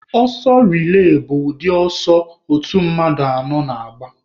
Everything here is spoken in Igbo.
Ọsọ relay bụ ụdị ọsọ otu mmadụ anọ na-agba.